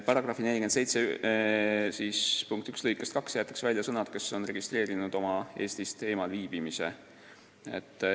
Paragrahvi 471 lõikest 2 jäetakse välja sõnad "kes on registreerinud oma Eestist eemal viibimise ja".